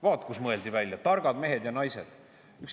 Vaat kus mõeldi välja – targad mehed ja naised!